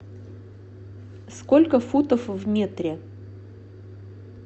сколько футов в метре